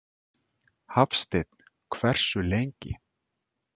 Hafsteinn: Hversu lengi?